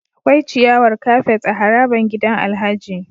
Akwai ciyawar kafet a harabar gidan Alhaji